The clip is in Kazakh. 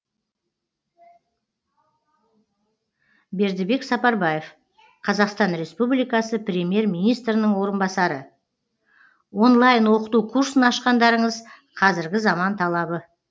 бердібек сапарбаев қазақстан республикасы премьер министрінің орынбасары онлайн оқыту курсын ашқандарыңыз қазіргі заман талабы